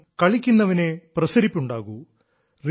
കാരണം കളിക്കുന്നവനേ പ്രസരിപ്പുണ്ടാകൂ